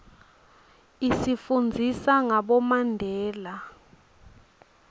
isifundzisa ngabomandela